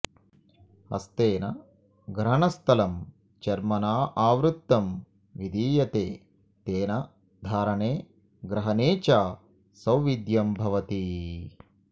ह्स्तेन ग्रहणस्थलं चर्मणाऽऽवृतं विधीयते तेन धारणे ग्रहणे च सौविध्यं भवति